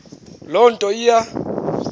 loo nto iya